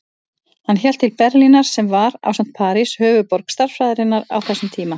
Hann hélt til Berlínar sem var, ásamt París, höfuðborg stærðfræðinnar á þessum tíma.